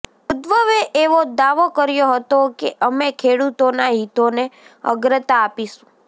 ઉદ્ધવે એવો દાવો કર્યો હતો કે અમે ખેડૂતોનાં હિતોને અગ્રતા આપીશું